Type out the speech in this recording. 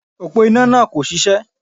Òpó iná náà kò ṣiṣẹ́